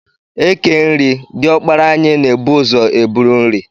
E kee nri, diọkpara anyị na-ebu ụzọ e buru nri.